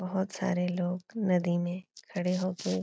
बहोत सारे लोग नदी में खड़े होके --